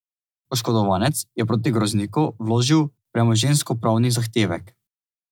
Oškodovanec je proti Grozniku vložil premoženjskopravni zahtevek.